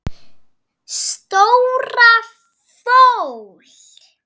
Stóra fól.